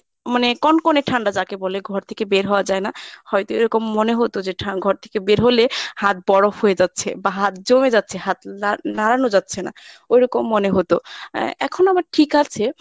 মানে কনকনে ঠান্ডা যাকে বলে ঘর থেকে বের হওয়া যায় না। হয়ত এরকম মনে হত যে ঠা~ ঘর থেকে বের হলে হাত বরফ হয়ে যাচ্ছে বা হাত জমে যাচ্ছে হাত লা~ নাড়ানো যাচ্ছে না ঐরকম মনে হত আহ এখন আবার ঠিক আছে।